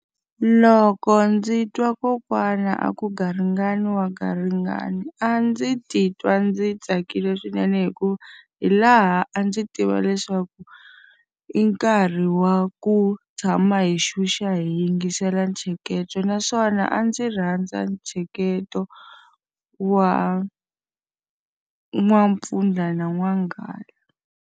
Loko ndzi twa kokwana a ku garingani wa garingani a ndzi titwa ndzi tsakile swinene hikuva, hi laha a ndzi tiva leswaku i nkarhi wa ku tshama hi xuxa hi yingisela ntsheketo. Naswona a ndzi rhandza ntsheketo wa n'wampfundla na n'wanghala.